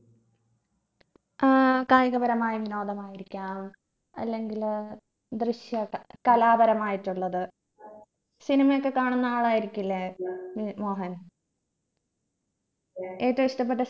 ഏർ കായികപരമായ വിനോദമായിരിക്കാം അല്ലെങ്കില് ദൃശ്യ ക് കലാപരമായിട്ടുള്ളത് cinema യൊക്കെ കാണുന്ന ആളായിരിക്കില്ലേ ഏർ മോഹൻ ഏറ്റവും ഇഷ്ടപ്പെട്ട